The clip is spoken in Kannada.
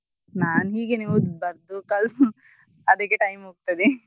ನಾನು ಹೀಗೆನೇ ಓದುದು ಬರ್ದು ಕಲ್ತು ಅದಕ್ಕೇ time ಹೋಗ್ತದೆ.